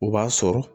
O b'a sɔrɔ